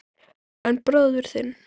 En bróðir þinn.